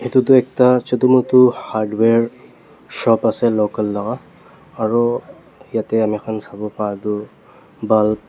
edu tu ekta chutu mutu hardware shop ase local laka aru yatae amikhan sawo patu bal--